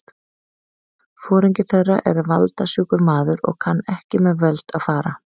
Foringi þeirra er valda- sjúkur maður og kann ekki með völd að fara.